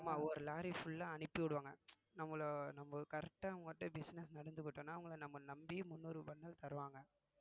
ஆமா ஒரு lorry full ஆ அனுப்பி விடுவாங்க நம்மளை நம்ம correct ஆ business நடந்து போயிட்டோம்னா அவங்களை நம்ம நம்பி முன்னூறு bundle தருவாங்க